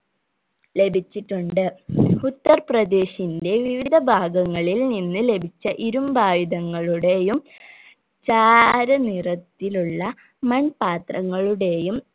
ലഭിച്ചിട്ടുണ്ട് ഉത്തർപ്രദേശിന്റെ വിവിധ ഭാഗങ്ങളിൽ നിന്ന് ലഭിച്ച ഇരുമ്പായുധങ്ങളുടെയും ചാര നിറത്തിലുള്ള മൺപാത്രങ്ങളുടെയും